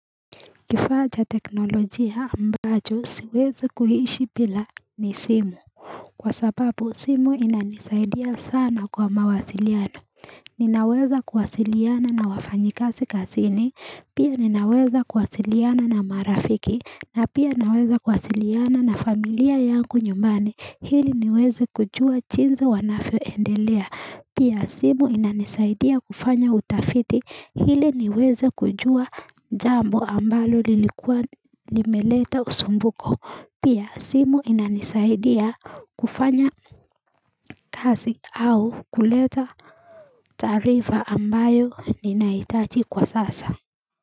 Kifaa cha teknolojia ambacho siwezi kuhishi pila ni simu kwa sababu simu inanisaidia sana kwa mawasiliano ninaweza kuwasiliana na wafanyikasi kasini pia ninaweza kuwasiliana na marafiki na pia naweza kuwasiliana na familia yanku nyumani hili niwezi kujua chinzi wanafyo endelea Pia simu inanisaidia kufanya utafiti hili niweze kujua jambo ambalo lilikuwa limeleta usumbuko Pia simu inanisaidia kufanya kazi au kuleta taarifa ambayo ninaitaji kwa sasa.